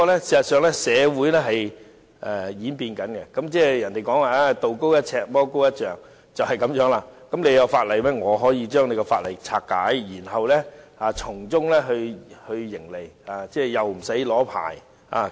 事實上，社會不斷演變，俗語所謂"道高一尺，魔高一丈"，你有法例規管，我可以將法例拆解，然後從中營利，又不需要申請牌照。